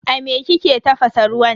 A me kike tafasa ruwan?